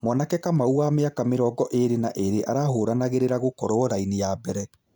Mwanake Kamau wa mĩaka mĩrongo ĩrĩ na ĩrĩ arahũranagĩrĩra gũkorwo raini ya mbere.